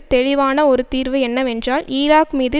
தெளிவான ஒரு தீர்வு என்னவென்றால் ஈராக் மீது